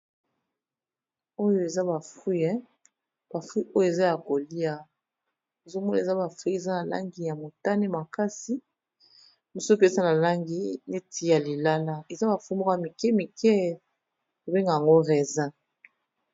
Oyo eza ba fruit, ba fruit oyo eza ya kolia ozo mona eza ba fruit eza na langi ya motane makasi. Mosusu pe eza na langi neti ya lilala eza ba fruit moko ya mike mike ba bengaka yango raisin.